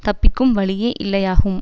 தப்பிக்கும் வழியே இல்லையாகும்